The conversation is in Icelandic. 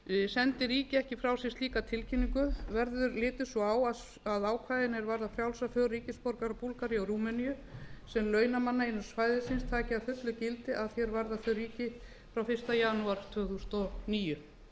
sendi ríki ekki frá sér slíka tilkynningu verður litið svo á að ákvæðin er varða frjálsa för ríkisborgara búlgaríu og rúmeníu sem launamanna innan svæðisins taki að fullu gildi að því er varðar þau ríki frá fyrsta janúar tvö þúsund og níu